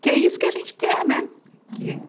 Que é isso que a gente quer, né? Que